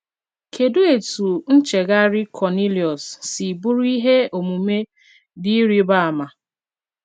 Kedụ etú ncheghari Kọniliọs si bụrụ ihe omume dị ịrịba ama?